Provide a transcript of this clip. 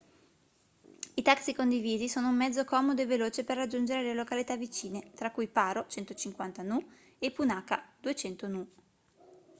i taxi condivisi sono un mezzo comodo e veloce per raggiungere le località vicine tra cui paro 150 nu e punakha 200 nu